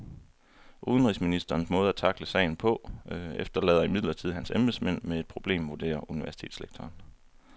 Udenrigsministerens måde at tackle sagen på efterlader imidlertid hans embedsmænd med et problem, vurderer universitetslektoren.